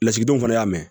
Lasigidenw fana y'a mɛn